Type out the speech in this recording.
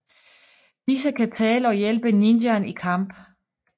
Disse kan tale og hjælpe ninjaen i kamp